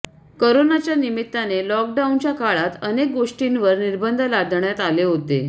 कोरोनाच्या निमित्ताने लॉकडाऊनच्या काळात अनेक गोष्टींवर निर्बंध लादण्यात आले होते